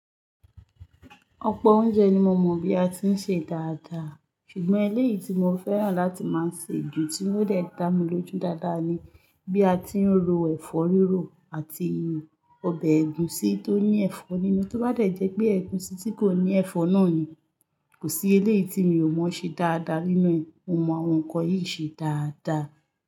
Ọ̀pọ̀ oúnjẹ ni mo mọ̀ bí a tí ń ṣe dáadáa, ṣùgbọ́n eléyìí tí mo fẹ́ràn láti máa se jù tí ó fè dá mi lójú dáadáa ni bí a tí ń ro ẹ̀fọ́ rírò àti ọbẹ̀ ẹ̀gusi tó ní ẹ̀fọ́ nínú, tó bá de jẹ́ pé ẹ̀gusi tí kò ní ẹ̀fọ́ náà ni Kò sí eléyìí tí mi ò mọ̀ ṣe dáadáa nínú ẹ, mo mọ àwọn nǹkan yìí ṣe dáadáa.